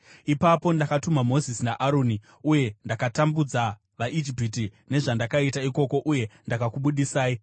“ ‘Ipapo ndakatuma Mozisi naAroni uye ndakatambudza vaIjipita nezvandakaita ikoko, uye ndakakubudisai.